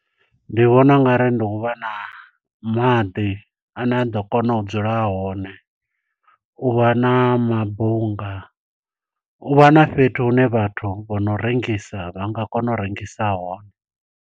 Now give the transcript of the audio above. Ndi vhona ungari ndi u vha na maḓi, ane a ḓo kona u dzula hone. U vha na mabunga. U vha na fhethu hune vhathu vho no rengisa vha nga kona u rengisa hone.